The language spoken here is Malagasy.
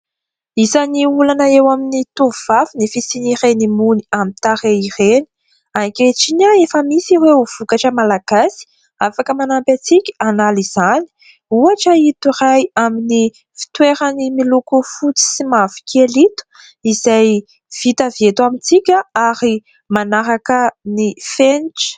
Izany olana eo amin'ny tovovavy ny fisian'ireny mony aminy tarehy ireny. Ankehitriny efa misy ireo ho vokatra malagasy afaka manampy antsika hanala izany ; ohatra ito iray amin'ny fitoerany miloko fotsy sy mavokely ito izay vita avy eto amintsika ary manaraka ny fenitra.